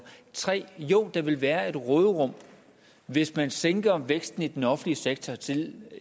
3 jo der vil være et råderum hvis man sænker væksten i den offentlige sektor til